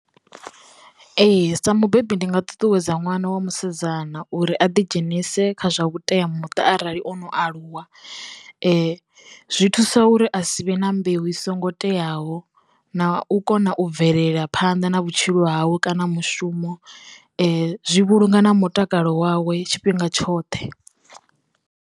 Ee. Sa mubebi ndi nga ṱuṱuwedza ṅwana wa musidzana uri a ḓi dzhenise kha zwa vhuteamuṱa arali ono aluwa zwi thusa uri a si vhe na mbeu i songo teaho na u kona u bvelela phanḓa na vhutshilo hawe kana mushumo zwi vhulunga na mutakalo wawe tshifhinga tshoṱhe.